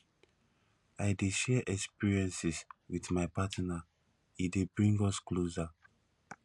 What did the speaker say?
i dey share experiences wit my partner e dey bring us closer